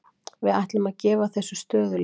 Við ætlum að gefa þessu stöðugleika.